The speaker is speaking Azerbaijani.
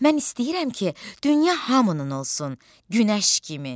Mən istəyirəm ki, dünya hamının olsun, günəş kimi.